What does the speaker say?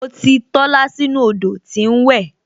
Mo ti Tola sínú odò tí ń wẹ